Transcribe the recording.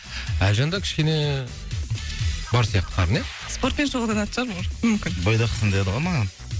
әлжанда кішкене бар сияқты қарын ия спортпен шұғылданатын шығар может мүмкін бойдақсың деді ғой маған